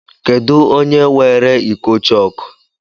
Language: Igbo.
Kedụ onye weere iko chọọkụ?